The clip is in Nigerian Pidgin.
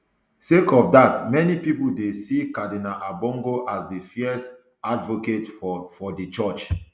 sake of dat many pipo dey see cardinal ambongo as fierce advocate for for di church